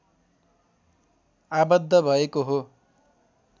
आवद्ध भएको हो